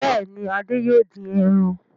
Bẹ́ẹ̀ ni, Adé yóò dín ẹran.